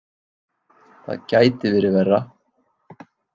Það gæti verið verra.